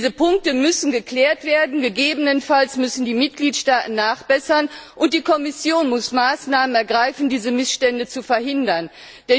Diese Punkte müssen geklärt werden, gegebenenfalls müssen die Mitgliedstaaten nachbessern und die Kommission muss Maßnahmen ergreifen, mit denen diese Missstände verhindert werden.